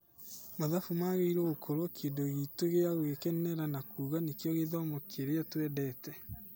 Mathabu magĩrĩirwo gũkorwo kĩndũ gitũ gĩa gũkenerera na kuga nĩkio gĩthomo kĩria twendete.